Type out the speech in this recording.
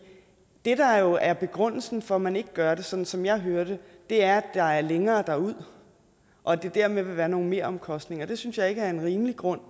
det der jo er begrundelsen for at man ikke gør det sådan som jeg hører det er at der er længere derud og at der dermed vil være nogle meromkostninger det synes jeg ikke er en rimelig grund